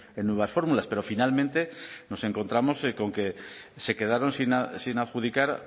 en nuevas fórmulas pero finalmente nos encontramos con que se quedaron sin adjudicar